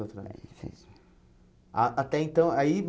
atrás. Ah até então aí